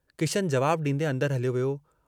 किशनु जवाबु डींदें अन्दर हलियो वियो।